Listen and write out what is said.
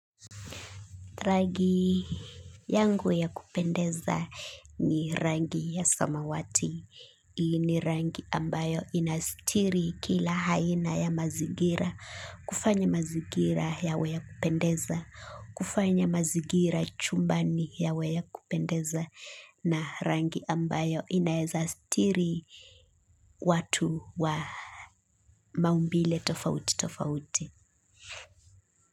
Rangi yangu ya kupendeza ni rangi ya samawati, ni rangi ambayo inastiri kila aina ya mazingira, kufanya mazingira yawe ya kupendeza, kufanya mazigira chumbani yawe ya kupendeza na rangi ambayo inaeza stiri watu wa maumbile tofauti tofauti.